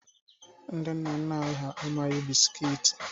Ndị nna nna anyị ha amaghị bisikiiti.